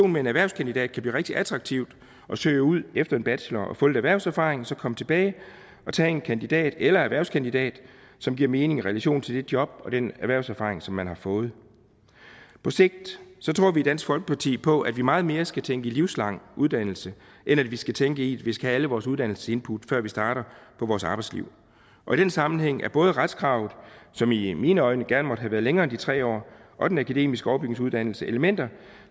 med en erhvervskandidat kan blive rigtig attraktivt at søge ud efter en bachelor og få lidt erhvervserfaring og så komme tilbage og tage en kandidat eller en erhvervskandidat som giver mening i relation til det job og den erhvervserfaring som man har fået på sigt tror vi i dansk folkeparti på at vi meget mere skal tænke i livslang uddannelse end at vi skal tænke i at vi skal have alle vores uddannelsesinput før vi starter på vores arbejdsliv og i den sammenhæng er både retskravet som i i mine øjne gerne måtte have været længere end de tre år og den akademiske overbygningsuddannelse elementer